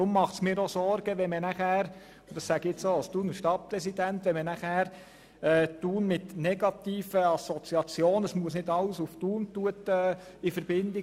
Deswegen bereitet es mir Sorgen – und dies sage ich auch als Thuner Stadtpräsident –, wenn man Thun mit negativen Assoziationen in Verbindung bringt im Sinne von: